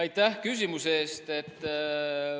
Aitäh küsimuse eest!